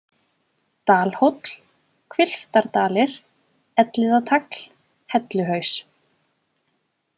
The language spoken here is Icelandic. Dalhóll, Hvilftardalir, Elliðatagl, Helluhaus